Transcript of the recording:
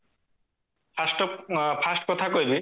first of first କଥା କହିବି